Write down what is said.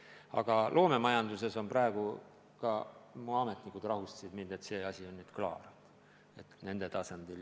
Aga mis puutub loomemajandusse, siis ka minu ametnikud rahustasid mind, et nende tasandil on see asi nüüd klaar.